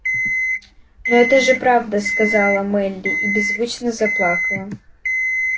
но это же правда сказала мелли и беззвучно заплакала